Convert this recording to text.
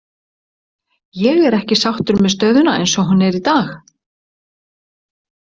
Ég er ekki sáttur með stöðuna eins og hún er í dag.